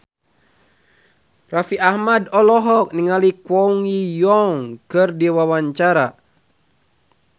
Raffi Ahmad olohok ningali Kwon Ji Yong keur diwawancara